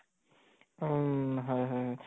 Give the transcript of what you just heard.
উম হয় হয়